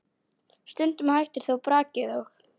Stundum hættir þó brakið og